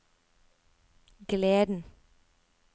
gleden